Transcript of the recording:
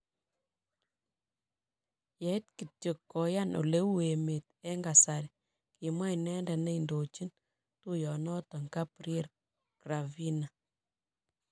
"Yeit kityok koyan oleu emet en kasari," kimwa inendet ne indochin tuiyonoton Gabriel Gravina.